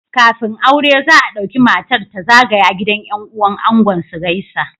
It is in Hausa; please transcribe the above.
Kafin aure za a dauki matar ta zagaya gidan yan uwan angon su gaisa